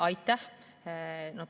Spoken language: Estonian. Aitäh!